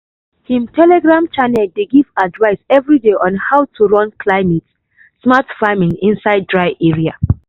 him telegram channel dey give advice everyday on how to run climate-smart farming inside dry area.